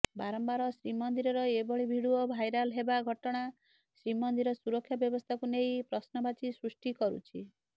ବାରମ୍ବାର ଶ୍ରୀମନ୍ଦିରର ଏଭଳି ଭିଡିଓ ଭାଇରାଲ ହେବା ଘଟଣା ଶ୍ରୀମନ୍ଦିର ସୁରକ୍ଷା ବ୍ୟବସ୍ଥାକୁ ନେଇ ପ୍ରଶ୍ନବାଚୀ ସୃଷ୍ଟି କରୁଛି